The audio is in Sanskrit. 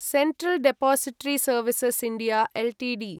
central depository services India Ltd